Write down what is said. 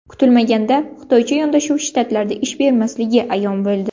Kutilmaganda xitoycha yondashuv Shtatlarda ish bermasligi ayon bo‘ldi.